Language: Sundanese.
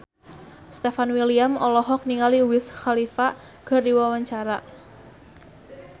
Stefan William olohok ningali Wiz Khalifa keur diwawancara